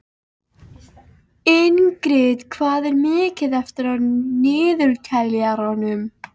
Ingrid, hvað er mikið eftir af niðurteljaranum?